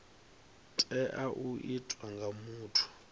tea u itwa nga muthu